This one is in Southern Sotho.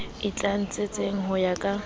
e tlatsetsang ho ya ka